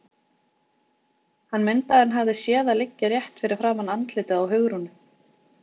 Hann mundi að hann hafði séð það liggja rétt fyrir framan andlitið á Hugrúnu.